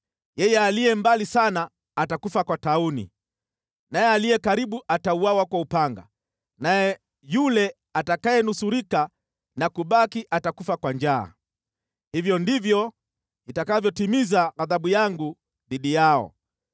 Yeye aliye mbali sana atakufa kwa tauni, naye aliye karibu atauawa kwa upanga, naye yule atakayenusurika na kubaki atakufa kwa njaa. Hivyo ndivyo nitakavyotimiza ghadhabu yangu dhidi yao.